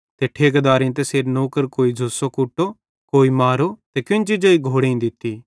ते ठेकेदारेइं तैसेरे नौकर कोई झ़ूसो कुटो कोई मारो ते केन्ची जेई घोड़ेईं दित्ती